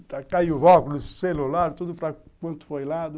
Aí caiu o óculos, o celular, tudo para quanto foi lado.